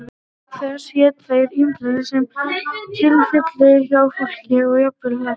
auk þess éta þeir ýmislegt sem til fellur hjá fólki og jafnvel hræ